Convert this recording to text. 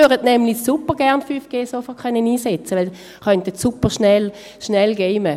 sie möchten 5G nämlich supergerne sofort einsetzen können, dann könnten sie superschnell gamen.